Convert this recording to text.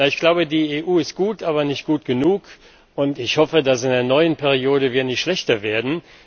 Ich glaube, die EU ist gut, aber nicht gut genug, und ich hoffe, dass wir in der neuen Periode nicht schlechter werden.